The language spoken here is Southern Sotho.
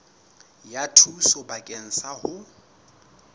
ya thuso bakeng sa ho